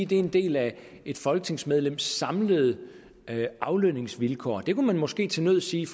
det er en del af et folketingsmedlems samlede aflønningsvilkår det kunne man måske til nød sige